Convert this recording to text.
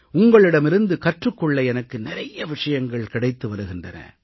உங்களிடமிருந்து கற்றுக் கொள்ள எனக்கு நிறைய விஷயங்கள் கிடைத்து வருகின்றன